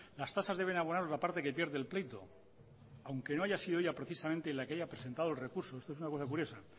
las tasas deben abonar la parte que pierde el pleito aunque no haya sido ella precisamente la que haya presentado el recurso aesto es una cosa curiosae